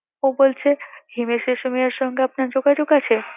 ও বলছে হিমেশ রেশামিয়ার সঙ্গে আপনার যোগাযোগ আছে